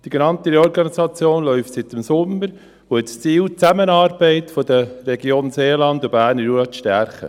Die genannte Reorganisation läuft seit dem Sommer und hat zum Ziel, die Zusammenarbeit der Region Jura und Berner Seeland zu stärken.